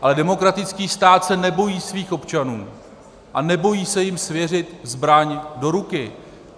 Ale demokratický stát se nebojí svých občanů a nebojí se jim svěřit zbraň do ruky.